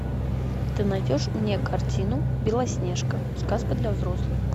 ты найдешь мне картину белоснежка сказка для взрослых